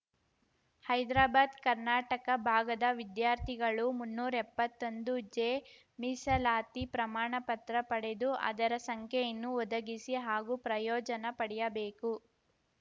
ಹೈದರಾಬಾದ್‌ ಕರ್ನಾಟಕ ಭಾಗದ ವಿದ್ಯಾರ್ಥಿಗಳು ಮುನ್ನೂರಾ ಎಪ್ಪತ್ತೊಂದು ಜೆ ಮೀಸಲಾತಿ ಪ್ರಮಾಣ ಪತ್ರ ಪಡೆದು ಅದರ ಸಂಖ್ಯೆಯನ್ನು ಒದಗಿಸಿ ಹಾಗೂ ಪ್ರಯೋಜನ ಪಡೆಯಬೇಕು